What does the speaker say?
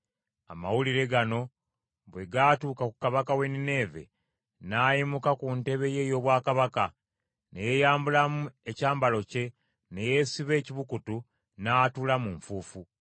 Amawulire gano bwe gaatuuka ku kabaka w’e Nineeve, n’ayimuka ku ntebe ye ey’obwakabaka, ne yeeyambulamu ekyambalo kye, ne yeesiba ekibukutu, n’atuula mu nfuufu.